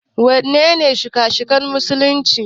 Waɗannene shika-shikan musulunci?